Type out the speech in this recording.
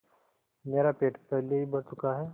मेरा पेट पहले ही भर चुका है